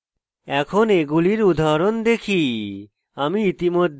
এখন এগুলির উদাহরণ দেখি